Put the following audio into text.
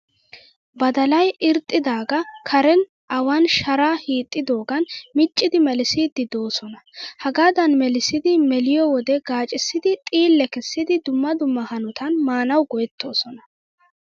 Badalayi irxxidaagaa karen awan sharaa hiixxidoogan miccidi melissiiddi doosona. Hagaadan melissidi meliyoo wode gaacissidi xiillee kessidi dumma dumma hanotan maanawu go''ettoosona.